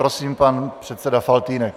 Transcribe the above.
Prosím, pan předseda Faltýnek.